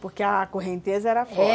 Porque a correnteza era forte, é.